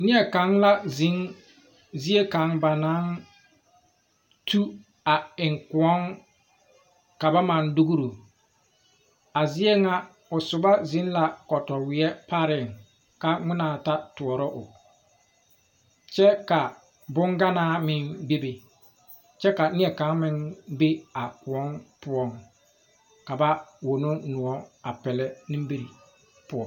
Nieɛ kaŋ la zèŋ zie kaŋ ba naŋ tu a eŋ kõɔŋ ka ba maŋ dugro a zie ŋa o sobɔ zeŋ la katɔweɛ pareŋ ka ngmenaa ta tɔɔrɔ o kyɛ ka bonganaa meŋ bebe kyɛ ka nie kaŋ meŋ be a kõɔŋ poɔ ka ba wono noɔ a pɛlɛ nimire poɔ.